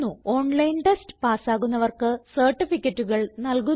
online test പാസ്സാകുന്നവർക്ക് സർട്ടിഫികറ്റുകൾ നല്കുന്നു